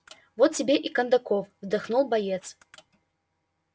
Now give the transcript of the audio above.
вот тебе и кондаков вздохнул боец